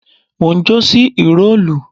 Mo njó sí ìró ìlù